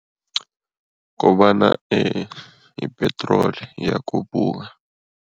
Kobana i-petrol iyakhuphuka.